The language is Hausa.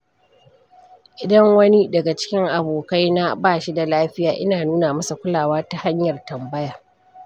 Idan wani daga cikin abokaina bashi da lafiya, ina nuna masa kulawa ta hanyar tambaya.